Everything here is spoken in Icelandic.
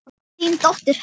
Þín dóttir, Edda.